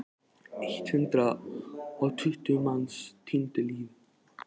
Eitt hundrað og tuttugu manns týndu lífi.